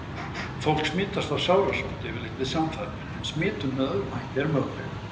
Fólk smitast af sárasótt yfirleitt við samfarir en smitun með öðrum hætti er möguleg.